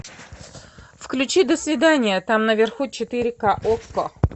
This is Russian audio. включи до свидания там наверху четыре ка окко